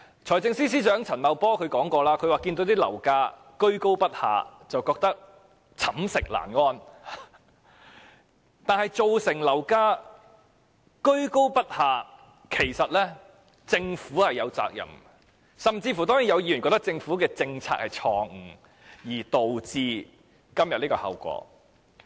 財政司司長陳茂波曾說樓價居高不下，覺得寢食難安，但樓價居高不下，政府是有責任的，有議員甚至覺得是政府的政策錯誤，導致今天的後果。